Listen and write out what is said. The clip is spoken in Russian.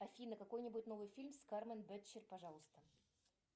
афина какой нибудь новый фильм с кармен бетчер пожалуйста